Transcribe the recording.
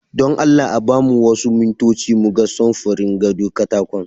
Don Allah a ba mu wasu mintoci mu ga samfurin gado katakon.